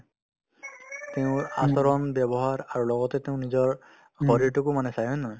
তেওঁৰ আচৰণ ব্যৱহাৰ আৰু লগতে তেওঁ নিজৰ শৰীৰতোকো মানুহে চাই হয় নে নহয়